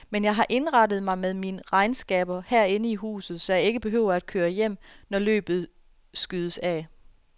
Men jeg har indrettet mig med mine regnskaber herinde i huset, så jeg ikke behøver at køre hjem, når løbet skydes af.